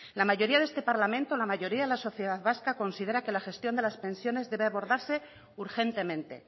la mayoría de este parlamento la mayoría de la sociedad vasca considera que la gestión de las pensiones debe abordarse urgentemente